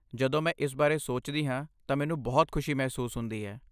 ਜਦੋਂ ਮੈਂ ਇਸ ਬਾਰੇ ਸੋਚਦੀ ਹਾਂ ਤਾਂ ਮੈਨੂੰ ਬਹੁਤ ਖੁਸ਼ੀ ਮਹਿਸੂਸ ਹੁੰਦੀ ਹੈ।